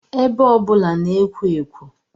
Ebe ọbụla na-ekwo ekwo